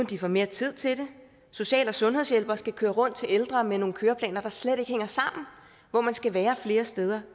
de får mere tid til det social og sundhedshjælpere skal køre rundt til ældre med nogle køreplaner der slet ikke hænger sammen og hvor man skal være flere steder